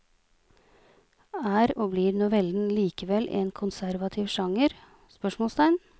Er og blir novellen likevel en konservativ sjanger? spørsmålstegn